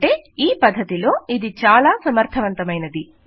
అంటే ఈ పద్ధతిలో ఇది చాలా సమర్థవంతమైనది